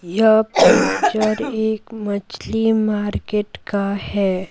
यह पिक्चर एक मछली मार्केट का है।